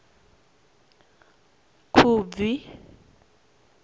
khubvi